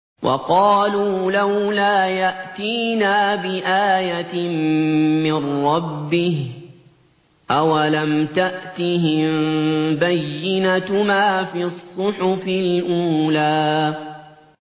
وَقَالُوا لَوْلَا يَأْتِينَا بِآيَةٍ مِّن رَّبِّهِ ۚ أَوَلَمْ تَأْتِهِم بَيِّنَةُ مَا فِي الصُّحُفِ الْأُولَىٰ